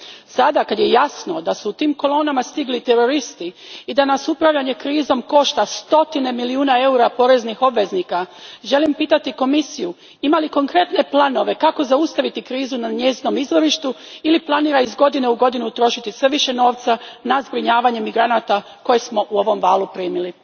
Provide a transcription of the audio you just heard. Sad kad je jasno da su u tim kolonama stigli i teroristi i da nas upravljanje krizom košta stotine milijuna eura poreznih obveznika, želim pitati Komisiju ima li konkretne planove kako zaustaviti krizu na njezinom izvorištu ili planira iz godine u godinu trošiti sve više novca na zbrinjavanje migranata koje smo u ovom valu primili.